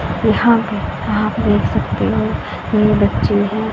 यहां पे आप देख सकते हो ये बच्चे हैं।